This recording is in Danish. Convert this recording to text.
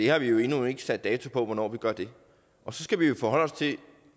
har vi jo endnu ikke sat dato på hvornår vi gør det og så skal vi jo forholde os til